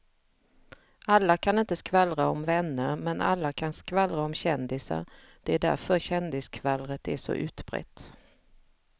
Alla kan inte skvallra om vänner men alla kan skvallra om kändisar, det är därför kändisskvallret är så utbrett.